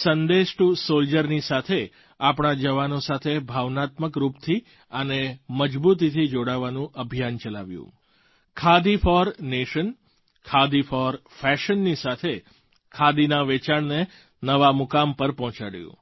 સંદેશ ટૂ સૉલ્જરની સાથે આપણા જવાનો સાથે ભાવનાત્મક રૂપથી અને મજબૂતીથી જોડાવાનું અભિયાન ચલાવ્યું khadi for nation khadi for Fashionની સાથે ખાદીના વેચાણને નવા મુકામ પર પહોંચાડ્યું